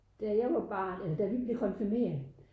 Da jeg var barn eller da vi blev konfirmeret